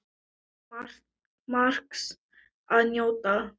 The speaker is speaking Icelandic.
Þar er margs að njóta.